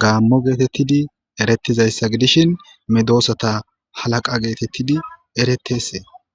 Gamo getetidi eretizayisa gidishshin medosata halaaqa getetidi eretese